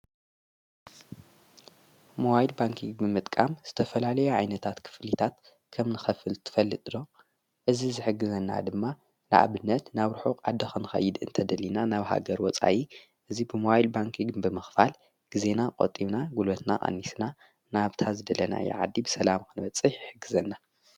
መዋይድ ባንኪግ ብምጥቃም ዝተፈላልዮ ዓይነታት ክፍሊታት ኸም ንኸፍል ትፈልጥሮ እዝ ዝሕግዘና ድማ ለዓብነት ናብ ርኁቕኣደ ኸንኸይድ እንተደሊና ናብሃገር ወፃይ እዙይ ብመዋይድ ባንኪግ ብምኽፋል ጊዜና ቖጢብና ጕሎትና ኣኒስና ናብታ ዝደለና የዓዲ ብሰላም ኽነበጽሕ ይሕግዘና።